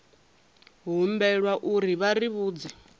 humbelwa uri vha ri vhudze